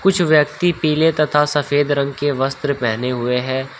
कुछ व्यक्ति पीले तथा सफेद रंग के वस्त्र पहने हुए है।